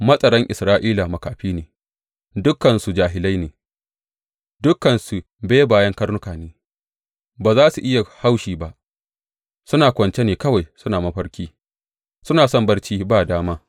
Matsaran Isra’ila makafi ne, dukansu jahilai ne; dukansu bebayen karnuka ne ba za su iya haushi ba; suna kwance ne kawai suna mafarki, suna son barci ba dama.